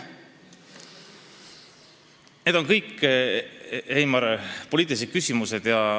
Need on kõik, Heimar, poliitilised küsimused.